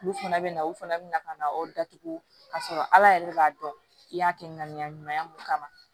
Olu fana bɛ na u fana bina na o datugu ka sɔrɔ ala yɛrɛ b'a dɔn i y'a kɛ ŋaniya ɲuman ye mun kama